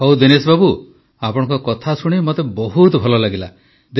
ହଉ ଦିନେଶ ବାବୁ ଆପଣଙ୍କ କଥା ଶୁଣି ମୋତେ ବହୁତ ଭଲ ଲାଗିଲା